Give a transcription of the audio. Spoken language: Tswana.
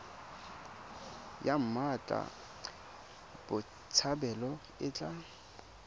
ya mmatla botshabelo e tla